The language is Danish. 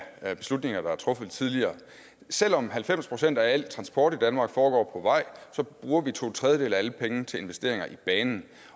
af beslutninger der er truffet tidligere selv om halvfems procent af al transport i danmark foregår på vej bruger vi to tredjedele af alle pengene til investeringer i banen